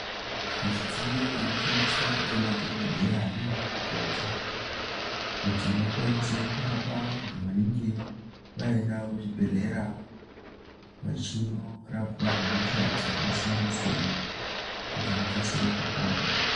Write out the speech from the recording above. Midziyo inoshandiswe ngemadhokodheya nana mukoti kuti vakwanise kurapa vantu vanenge vaenda kuzvibhedhlera vachinorapwa hosha dzakasiyana siyana kuti vakasire kupota.